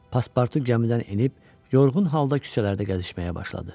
Paspartu gəmidən enib yorğun halda küçələrdə gəzişməyə başladı.